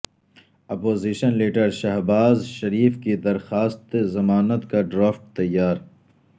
opposition leader Shahbaz Sharif کی درخواست ضمانت کا ڈرافٹ تیار